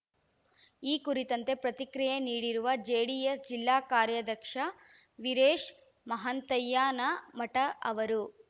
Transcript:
ಈ ಕುರಿತಂತೆ ಪ್ರತಿಕ್ರಿಯೆ ನೀಡಿರುವ ಜೆಡಿಎಸ್‌ ಜಿಲ್ಲಾ ಕಾರ್ಯಾಧ್ಯಕ್ಷ ವೀರೇಶ ಮಹಾಂತಯ್ಯನಮಠ ಅವರು